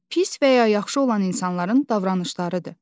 Pis və ya yaxşı olan insanların davranışlarıdır.